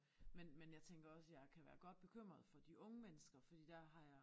Men men jeg tænker også jeg kan være godt bekymret for de unge mennesker fordi der har jeg